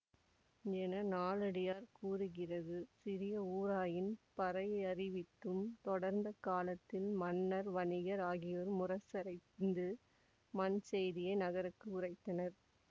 என நாலடியார் கூறுகிறது சிறிய ஊராயின் பறையறிவித்தும் தொடர்ந்த காலத்தில் மன்னர் வணிகர் ஆகியோர் முரசறைந்து மண் செய்தியை நகருக்கு உறைத்தனர்